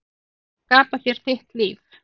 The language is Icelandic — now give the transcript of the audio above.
Skapa þér þitt líf.